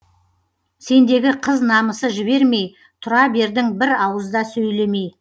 сендегі қыз намысы жібермей тұра бердің бір ауызда сөйлемей